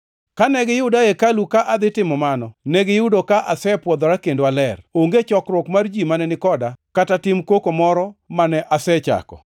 Kane giyuda e hekalu ka adhi timo mano, negiyudo ka asepwodhora kendo aler. Onge chokruok mar ji mane ni koda, kata tim koko moro mane asechako.